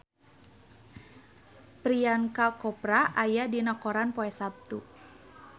Priyanka Chopra aya dina koran poe Saptu